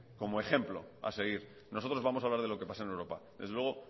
como ejemplo a seguir nosotros vamos a hablar de lo que pasa en europa desde luego